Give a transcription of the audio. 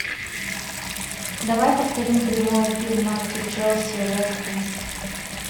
давай повторим прямой эфир матча челси вест хэм